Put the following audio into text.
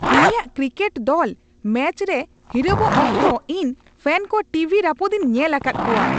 ᱩᱱᱤᱭᱟᱜ ᱠᱨᱤᱠᱮᱴ ᱫᱚᱞ ᱢᱮᱪ ᱨᱮ ᱦᱤᱨᱟᱹᱣᱚᱜ ᱚᱠᱛᱚ ᱤᱧ ᱯᱷᱮᱱ ᱠᱚ ᱴᱤᱵᱷᱤ ᱨᱟᱹᱯᱩᱫᱤᱧ ᱧᱮᱞ ᱟᱠᱟᱫ ᱠᱚᱣᱟ ᱾